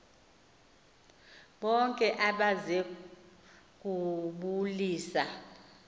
bonke abeze kubulisa